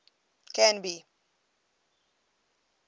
canby